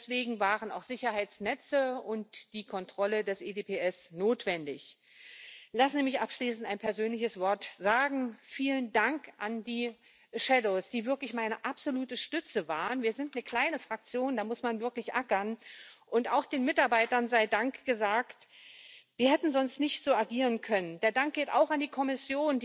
work of law enforcement agencies needs to be recognised, and interoperability between these EU agencies and Member State authorities needs to